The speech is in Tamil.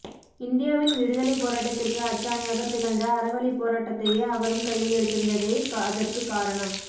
இந்தியாவின் விடுதலைப்போராட்டத்திற்கு அச்சாணியாகத் திகழ்ந்த அறவழிப்போராட்டத்தையே அவரும் கையில் எடுத்திருந்ததே அதற்குக் காரணம்